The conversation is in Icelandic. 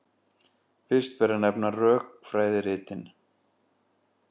Fyrst ber að nefna rökfræðiritin.